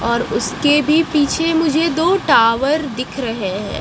और उसके भी पीछे मुझे दो टावर दिख रहे हैं।